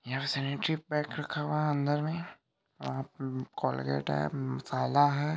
यहा sanitary pad रखा हुआ है अंदर में और कॉलगेट है थैला है |